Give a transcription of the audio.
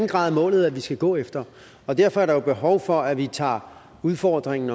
grad er målet vi skal gå efter og derfor er der behov for at vi tager udfordringen